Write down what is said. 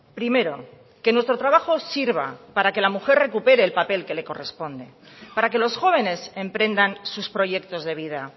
primero que nuestro trabajo sirva para que la mujer recupere el papel que le corresponde para que los jóvenes emprendan sus proyectos de vida